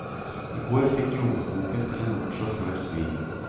I går fikk lommeboken til en ung sjåfør svi.